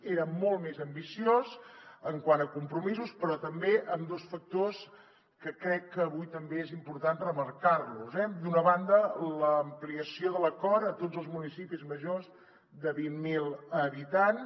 era molt més ambiciós quant a compromisos però també en dos factors que crec que avui també és important remarcar los eh d’una banda l’ampliació de l’acord a tots els municipis majors de vint mil habitants